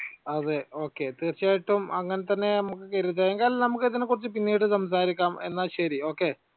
അതെ okay തീർച്ചയായിട്ടും അങ്ങനെ തന്നെ നമുക്ക് കരുതാം. നമുക്ക് ഇതിനെക്കുറിച്ച് പിന്നീട് സംസാരിക്കാം എന്നാൽ ശരി okay